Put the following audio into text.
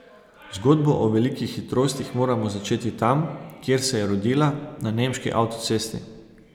Zgodbo o velikih hitrostih moramo začeti tam, kjer se je rodila, na nemški avtocesti.